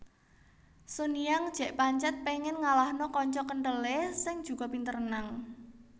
Sun Yang jek pancet pengen ngalahno kanca kenthele sing juga pinter renang